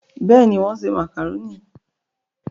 bẹ́ẹ̀ni, wọ́n ṣe màkàrónì